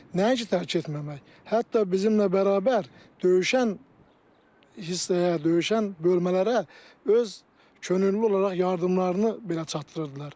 Nəinki tərk etməmək, hətta bizimlə bərabər döyüşən hissəyə, döyüşən bölmələrə öz könüllü olaraq yardımlarını belə çatdırırdılar.